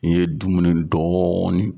Ni ye dumuni dɔɔni.